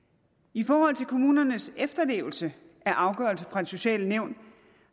i forhold til kommunernes efterlevelse af afgørelser fra de sociale nævn